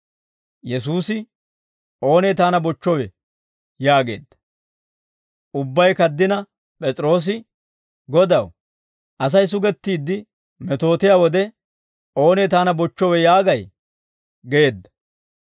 Yesuusi, «Oonee taana bochchowe?» yaageedda. Ubbay kaddina P'es'iroosi, «Godaw, Asay sugettiidde metootiyaa wode, ‹Oonee taana bochchowe› yaagay?» geedda.